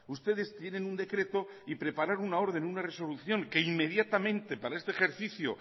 ustedes tienen un decreto y preparar una orden o una resolución que inmediatamente para este ejercicio